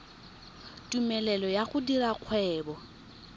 tumelelo ya go dira kgwebo